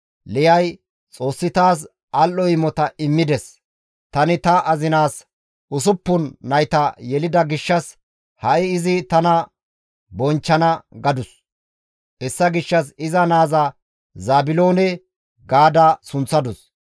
Liyay, «Xoossi taas al7o imota immides; tani ta azinaas usuppun nayta yelida gishshas ha7i izi tana bonchchana» gadus. Hessa gishshas iza naaza Zaabiloone ga sunththadus.